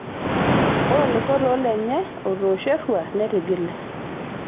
Ore oloisotoo lenye otoosho eruat netigile.